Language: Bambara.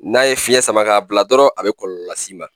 N'a ye fiɲɛ sama k'a bila dɔrɔn a bɛ kɔlɔ las'i ma